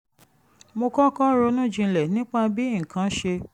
mo kọ́kọ́ ronú jinlẹ̀ nípa bí nǹkan ṣe